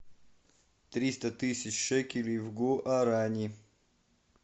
триста тысяч шекелей в гуарани